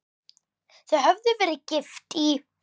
Þau höfðu verið gift í